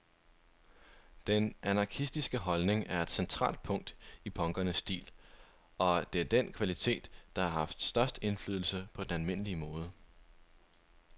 Den anarkistiske holdning er et centralt punkt i punkernes stil, og det er den kvalitet, der har haft størst indflydelse på den almindelige mode.